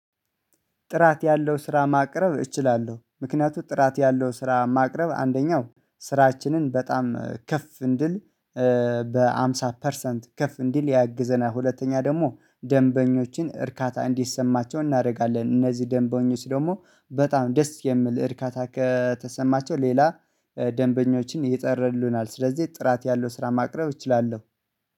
ጥራት ያለው ስራ ማቅረብ እችላለሁ ምክንያቱም ጥራት ያለው ስራ ማቅረብ አንደኛው ስራችንን በጣም ከፍ እንድል በሃምሳ ፐርሰንት ከፍ እንድል ያግዘናል። ሁለተኛ ደግሞ ደንበኞችን እርካታ እንዲሰማቸው እናደርጋለን እነዚህ ደንበኞች ደግሞ በጣም ደስ የሚል እርካታ ከተሰማቸው ሌላ ደንበኞችን የጠሩልናል። ስለዚህ ጥራት ያለው ስራ ማቅረብ እችላለሁ።